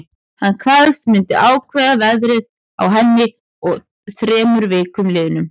Hann kvaðst myndu ákveða verðið á henni að þremur vikum liðnum.